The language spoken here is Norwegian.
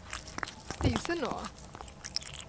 Disenå